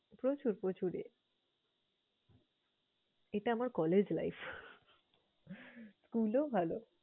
প্রচুর প্রচুর এ এটা আমার collage life, school ও ভালো।